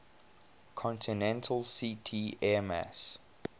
continental ct airmass